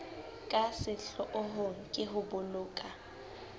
ka sehloohong ke ho boloka